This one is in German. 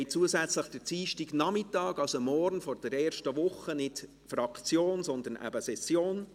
Zusätzlich haben wir den Dienstagnachmittag der ersten Woche, also morgen, keine Fraktionssitzungen, sondern Session.